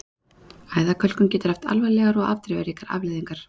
Æðakölkun getur haft alvarlegar og afdrifaríkar afleiðingar.